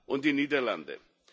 und die Niederlande.